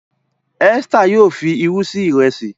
Esther yíò fí ìrù sí Ìrẹsí.